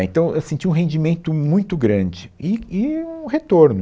Né, Então, eu senti um rendimento muito grande, e e um retorno.